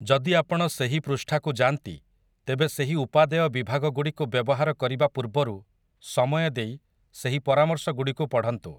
ଯଦି ଆପଣ ସେହି ପୃଷ୍ଠାକୁ ଯାଆନ୍ତି, ତେବେ ସେହି ଉପାଦେୟ ବିଭାଗଗୁଡ଼ିକୁ ବ୍ୟବହାର କରିବା ପୂର୍ବରୁ ସମୟ ଦେଇ ସେହି ପରାମର୍ଶଗୁଡ଼ିକୁ ପଢ଼ନ୍ତୁ ।